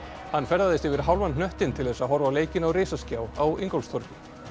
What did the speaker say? hann ferðaðist yfir hálfan hnöttinn til þess að horfa á leikinn á risaskjá á Ingólfstorgi